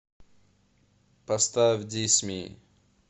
поставь дисми